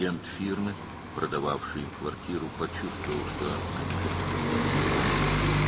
Onlara mənzili satan firmanın agenti onların tək qalmaq istədiklərini hiss etdi.